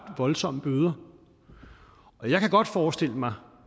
voldsomme bøder og jeg kan godt forestille mig